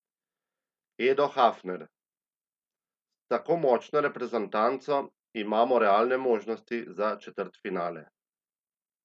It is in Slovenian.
Edo Hafner: "S tako močno reprezentanco imamo realne možnosti za četrtfinale.